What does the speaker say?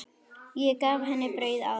Ég gaf henni brauð áðan.